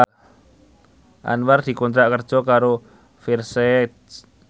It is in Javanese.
Anwar dikontrak kerja karo Versace